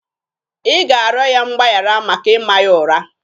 Ị ga-arịọ ya mgbaghara maka ịma ya ụra!